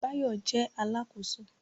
Báyọ̀ jẹ́ Alákóso